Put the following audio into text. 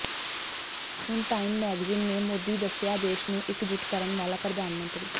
ਹੁਣ time magazine ਨੇ ਮੋਦੀ ਦੱਸਿਆ ਦੇਸ਼ ਨੂੰ ਇਕਜੁੱਟ ਕਰਨ ਵਾਲਾ ਪ੍ਰਧਾਨ ਮੰਤਰੀ